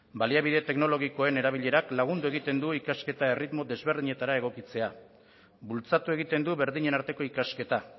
baliabide teknologikoen erabilerak lagundu egiten du ikasketa erritmo ezberdinetara egokitzea bultzatu egiten du berdinen arteko ikasketa